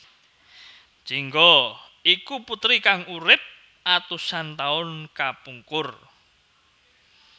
Jingga iku puteri kang urip atusan taun kapungkur